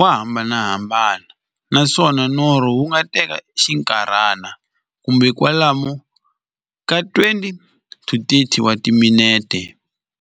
wa hambanahambana, naswona norho wu nga teka xinkarhana, kumbe kwalomu ka 20-30 wa timinete.